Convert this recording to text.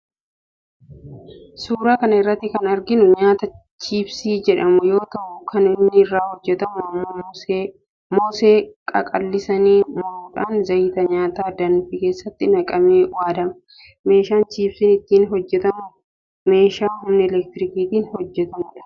Suuraa kana irratti kan arginu nyaataa chiipsii jedhamuu yoo ta'u kan inni irraa hojjetamu immoo moosee qaqallisanii muruudhan zayita nyaataa danfee keessatti naqamee waaddama. Meeshaan chiipsiin ittiin hojjetamu meeshaa humna elektirikiitin hojjetudha.